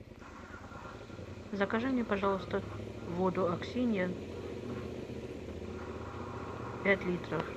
закажи мне пожалуйста воду аксинья пять литров